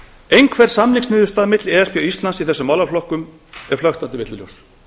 einhver samningsniðurstaða milli e s b og íslands í þessum málaflokkum er flöktandi villuljós